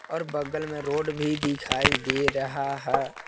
और बगल में रोड भी दिखाई दे रहा है।